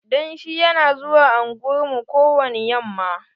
Danshi yana zuwa unguwar mu ko wani yamma.